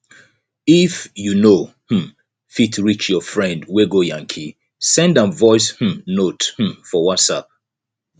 if you know um fit reach your friend wey go yankee send am voice um note um for whatsapp